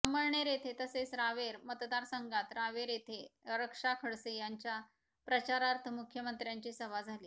अमळनेर येथे तसेच रावेर मतदारसंघात रावेरयेथे रक्षा खडसे यांच्या प्रचारार्थ मुख्यमंत्र्यांची सभा झाली